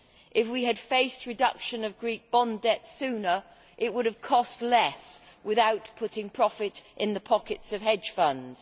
If we had faced up to the reduction of Greek bond debts sooner, it would have cost less without putting profit in the pockets of hedge funds.